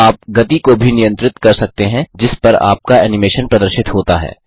आप गति को भी नियंत्रित कर सकते हैं जिस पर आपका एनिमेशन प्रदर्शित होता है